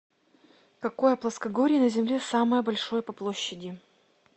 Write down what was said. какое плоскогорье на земле самое большое по площади